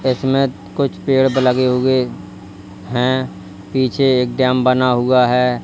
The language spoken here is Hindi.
इसमें कुछ पेड़ प लगे हुए हैं पीछे एक डैम बना हुआ है।